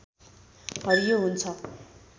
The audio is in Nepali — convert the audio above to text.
हरियो हुन्छ